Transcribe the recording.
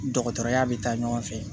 Dɔgɔtɔrɔya bɛ taa ɲɔgɔn fɛ